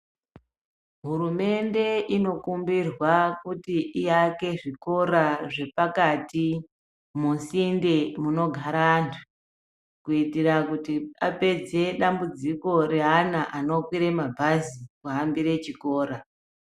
Hurumende inokumbirwa kuti iake zvikora zvepakati musinte munogara antu kuitira kuti apedze dambudziko reana anokwire mabhazi kuhambire chikora.